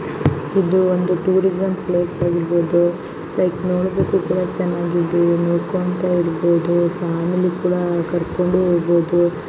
ಇದು ಒಂದು tourism place ಆಗಿರ್ಬೋದು ಲೈಕ್ ನೋಡೋದಿಕ್ಕೂ ಕೂಡ ಚೆನ್ನಾಗಿದೆ ಇರ್ಬೋದು ಫ್ಯಾಮಿಲಿ ಕೂಡ ಕರ್ಕೊಂಡು ಹೋಗ್ಬೋದು.